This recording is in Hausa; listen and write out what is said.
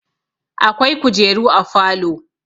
akwai kujeru a falo